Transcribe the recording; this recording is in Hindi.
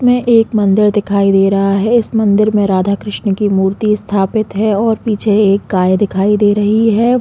में एक मंदिर दिखाई दे रहा है इस मंदिर में राधा कृष्ण की मूर्ति स्थापित है और पीछे एक गाय दिखाई दे रही हैं।